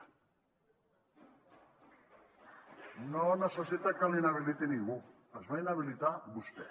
no necessita que l’inhabiliti ningú es va inhabilitar vostè